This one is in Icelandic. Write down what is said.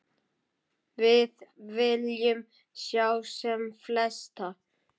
Við viljum sjá sem flesta.